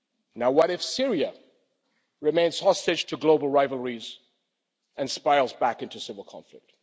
Now what if Syria remains hostage to global rivalries and spirals back into civil conflict?